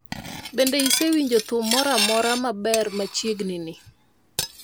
Bende isewinjo thum moro amora maber machiegni ni